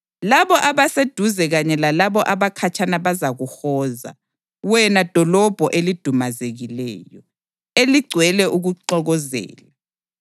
Labo abaseduze kanye lalabo abakhatshana bazakuhoza, wena dolobho elidumazekileyo, eligcwele ukuxokozela.